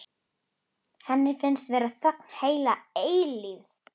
Henni finnst vera þögn heila eilífð.